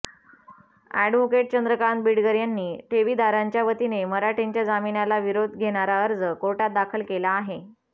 advocate Chandrakant Beedkar यांनी ठेवीदारांच्या वतीने मराठेंच्या जामीनाला विरोध घेणारा अर्ज कोर्टात दाखल केला आहे